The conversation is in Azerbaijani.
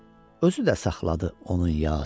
Özü də saxladı onun Yasin.